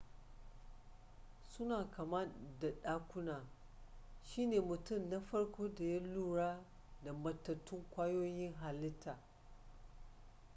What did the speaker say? suna kama da ɗakuna shi ne mutum na farko da ya lura da matattun ƙwayoyin halittaa